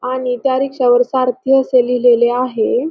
आणि त्या रिक्षावर सारथी असे लिहिलेले आहे.